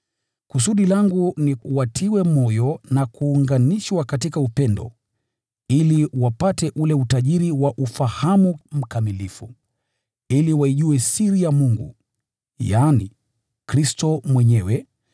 Kusudi langu ni watiwe moyo na kuunganishwa katika upendo, ili wapate ule utajiri wa ufahamu mkamilifu, ili waijue siri ya Mungu, yaani, Kristo mwenyewe,